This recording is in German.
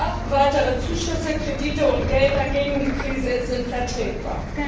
Ja, weitere Zuschüsse, Kredite und Gelder gegen die Krise sind vertretbar.